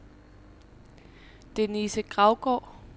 Denise Gravgaard